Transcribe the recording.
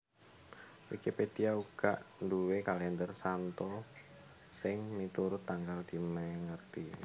Wikipedia uga nduwé kalèndher santo sing miturut tanggal dimèngeti